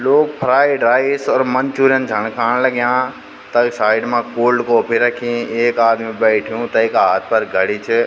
लोग fried rice और manchurian जाण खाण लग्याँ तख साइड मा कोल्ड कॉफ़ी रखीं एक आदमी बैठ्युं तैका हाथ पर घडी च।